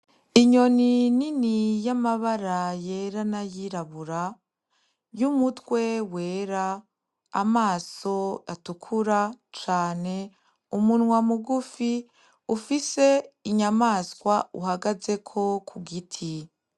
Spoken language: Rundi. Inyoni nini y'amabara yera n'ayirabura, y'umutwe wera, amaso atukura cane, umunwa mugufi ufise inyamaswa uhagazeko ku giti.